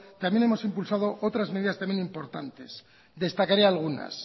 también hemos impulsado otras medidas también importantes destacaré algunas